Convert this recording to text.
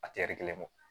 A tɛ kelen kɔ